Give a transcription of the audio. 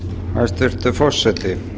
hæstvirtur forseti